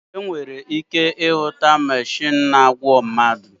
Enwere ike irụta mechinu na-agwo mmadụ